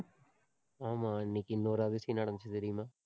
ஆமா, இன்னைக்கு இன்னொரு அதிசயம் நடந்துச்சு தெரியுமா?